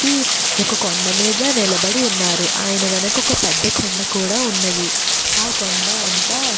ఒక వ్యక్తి ఒక కొండమీద నిలబడి ఉన్నారు. ఆయన వెనక ఒక పెద్ద కొండ కూడా ఉన్నది. ఆ కొండ అంతా--